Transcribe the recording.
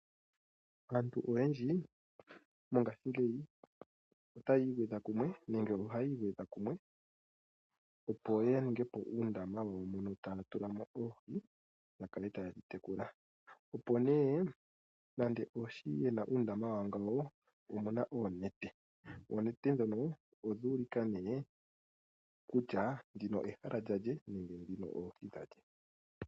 Aantu oyandji mongashingeyi otaya igwedha kumwe nenge ohaya igwedha kumwe opo ya ningepo uundama wawo mono taya tulamo oohi ya kale taya tekula. Opo nee nande oshi yena uundama wawo ngano omuna oonete, ononete dhono odha ulika ne kutya ndino ehala lyale nenge dhino oohi dha lye ?